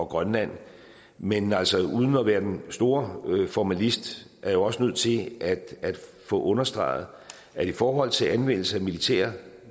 grønland men altså uden at være den store formalist er jeg også nødt til at få understreget at i forhold til anvendelse af militære